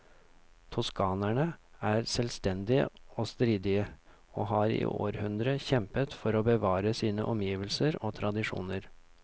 Toskanerne er selvstendige og stridige, og har i århundrer kjempet for å bevare sine omgivelser og tradisjoner.